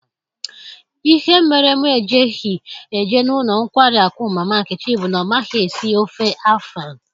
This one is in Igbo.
Ihe mere mụ ejighi eje n'ụlọ nkwari akụ mama nkechi bu na ọ maghị esi ofe Afan